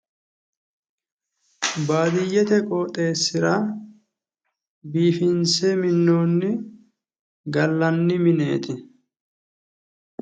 Baadiyyete qooxeessira biifinse minnoonni gallanni mineeti.